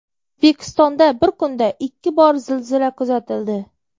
O‘zbekistonda bir kunda ikki bor zilzila kuzatildi.